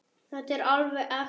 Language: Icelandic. Þetta er alveg ekta.